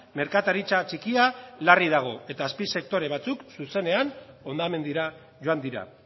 merkataritza txikia larri dago eta azpisektore batzuk zuzenean hondamendira joan dira